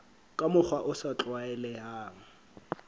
ka mokgwa o sa tlwaelehang